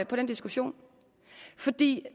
på den diskussion fordi